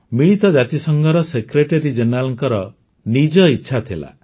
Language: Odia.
ମିଳିତ ଜାତିସଂଘର ସେକ୍ରେଟାରୀ ଜେନେରାଲଙ୍କ ନିଜର ଇଚ୍ଛା ଥିଲା